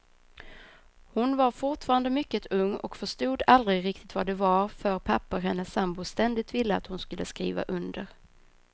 Hon var fortfarande mycket ung och förstod aldrig riktigt vad det var för papper hennes sambo ständigt ville att hon skulle skriva under.